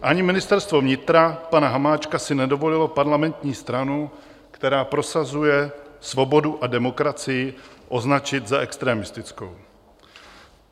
Ani Ministerstvo vnitra pana Hamáčka si nedovolilo parlamentní stranu, která prosazuje svobodu a demokracii, označit za extremistickou.